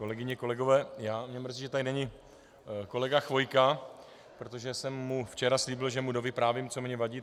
Kolegyně, kolegové, mě mrzí, že tady není kolega Chvojka, protože jsem mu včera slíbil, že mu dovyprávím, co mně vadí.